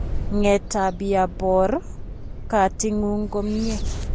Ng'eetaabya poor kaating'ung' komye